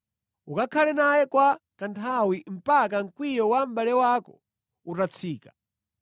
Ukakhale naye kwa kanthawi mpaka mkwiyo wa mʼbale wako utatsika.